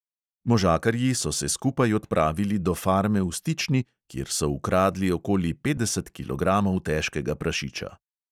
Možakarji so se skupaj odpravili do farme v stični, kjer so ukradli okoli petdeset kilogramov težkega prašiča.